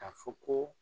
A fɔ ko